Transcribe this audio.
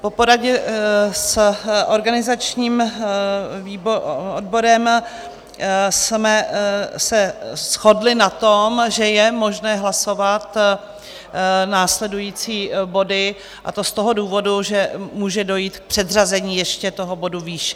Po poradě s organizačním odborem jsme se shodli na tom, že je možné hlasovat následující body, a to z toho důvodu, že může dojít k předřazení ještě toho bodu výše.